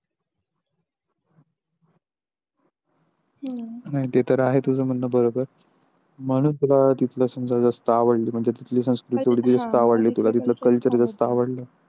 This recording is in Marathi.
नाही ते तर आहे तुझ म्हणणं बरोबर म्हणून तुला तिथलं समजा जास्त आवडल म्हणजे तिथली संस्कृती जास्त आवडल तुला तिथलं Culture जास्त आवडल.